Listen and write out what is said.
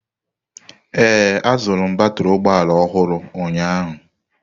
Ee, azụrụ m batrị ụgbọ ala ọhụrụ ụnyaahụ.